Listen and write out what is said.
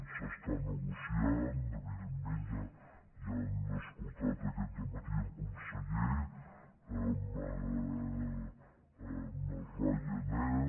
s’està negociant evidentment ja han escoltat aquest dematí el conseller amb ryanair